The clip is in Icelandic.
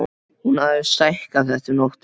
Hún hafði stækkað þetta um nóttina.